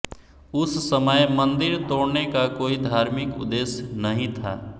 उस समय मंदिर तोड़ने का कोई धार्मिक उद्देश्य नहीं था